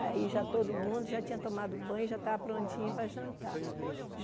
Aí já todo mundo já tinha tomado banho, já estava prontinho para jantar.